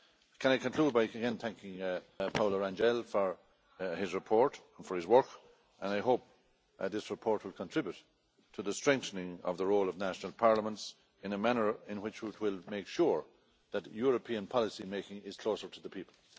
Can I conclude by again thanking Paulo Rangel for his report, for his work? And I hope that this report will contribute to the strengthening of the role of national parliaments in a manner in which will make sure that European policy making is closer to the people.